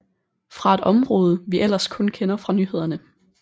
Fra et område vi ellers kun kender fra nyhederne